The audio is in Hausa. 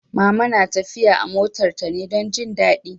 Mama na tafiya a motar ta ne don jin daɗi